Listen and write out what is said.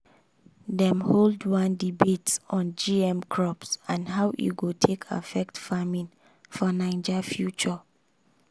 dem hold one debate on gm crops and how e go take affect farming for naija future.